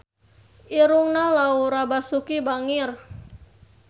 Irungna Laura Basuki bangir